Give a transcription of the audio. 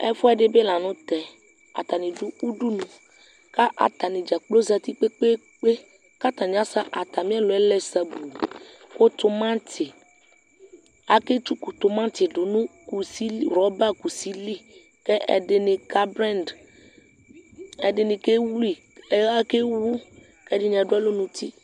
Ɛfuɛdi bi la nʋ tɛ Atani dʋ udunu kʋ atani dzakplo zati kpekpeekpe kʋ atani asɛ atami ɛlʋ yɛ lɛ sabuu kʋ tʋmati, aketsʋkʋ tʋmati dʋ nʋ rɔba kusi li kʋ ɛdini kablɛŋdi, ɛdini kewu, kʋ ɛdini adʋ alɔ nʋ uti